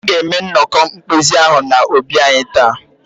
Ha ga-eme ya nnọkọ mkpezi ahụ n'obi anyị taa.